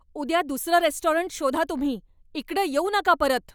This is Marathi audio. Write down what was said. उद्या दुसरं रेस्टॉरंट शोधा तुम्ही. इकडं येऊ नका परत.